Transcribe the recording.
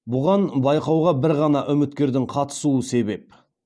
бұған байқауға бір ғана үміткердің қатысуы себеп